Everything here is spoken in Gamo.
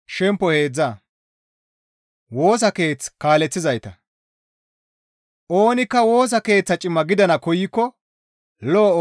«Oonikka Woosa Keeththa cima gidana koykko lo7o ooso amottees» giza qaalay tuma.